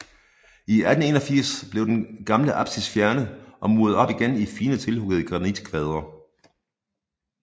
I 1881 blev den gamle apsis fjernet og muret op igen i fine tilhuggede granitkvadre